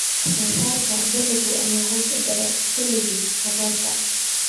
Wax-soo-saarka dalagga ayaa hoos u dhaca xilliga abaarta.